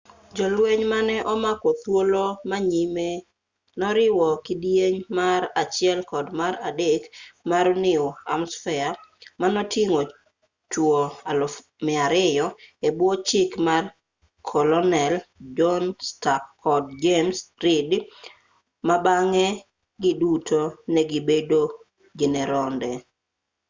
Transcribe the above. jolweny mane omako thuolo ma nyime noriwo kidieny mar 1 kod mar 3 mar new hampshire manoting'o chuo 200 e bwo chik mar kolonel john stark kod james reed ma bang'e giduto ne gibedo jeneronde